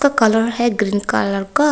इसका कलर है green colour का।